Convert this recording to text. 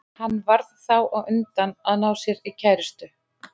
Hann varð þá á undan að ná sér í kærustu.